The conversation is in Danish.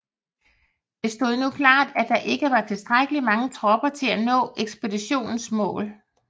Det stod nu klart at der ikke var tilstrækkelig mange tropper til at nå ekspeditionens mål